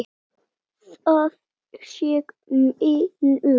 Það sé miður.